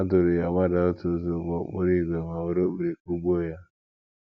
Ha duuru ya gbadaa otu ụzọ ụgbọ okporo ígwè ma were okpiri kụgbuo ya.